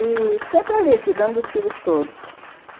E sempre ali, cuidando dos filhos todos.